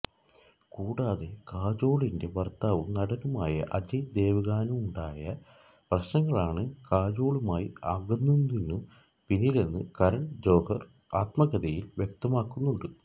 കൂടാതെ കാജോളിന്റെ ഭര്ത്താവും നടനുമായ അജയ് ദേവ്ഗണുമായുണ്ടായ പ്രശ്നങ്ങളാണ് കജോളുമായി അകന്നതിനു പിന്നിലെന്ന് കരണ് ജോഹര് ആത്മകഥയില് വ്യക്തമാക്കുന്നുണ്ട്